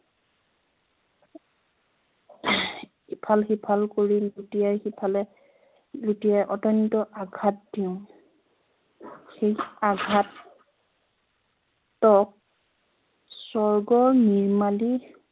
ইফাল-সিফাল কৰি লুটিয়াই সিফালে লুটিয়াই অতন্ত্য় আঘাত দিওঁ সেই আঘাত তক স্বৰ্গৰ নিৰ্মালি